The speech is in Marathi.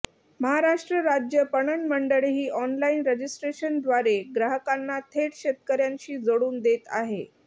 महाराष्ट्र राज्य पणन मंडळही ऑनलाईन रजिस्ट्रेशनद्वारे ग्राहकांना थेट शेतकऱ्यांशी जोडून देत आहे